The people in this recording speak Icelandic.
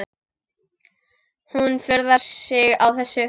Hún furðar sig á þessu.